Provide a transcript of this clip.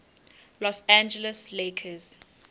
los angeles lakers